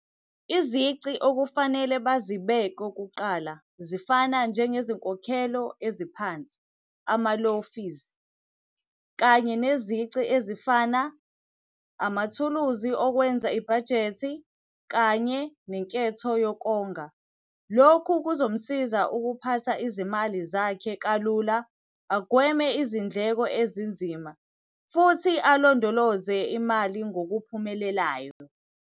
Izici okufanele bazibeke kuqala, zifana njengezinkokhelo eziphansi, ama-low fees. Kanye nezici ezifana, amathuluzi okwenza ibhajethi, kanye nenketho yokonga. Lokhu kuzomusiza ukuphatha izimali zakhe kalula. Agweme izindleko ezinzima, futhi alondoloze imali ngokuphumelelayo.